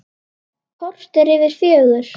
Korter yfir fjögur.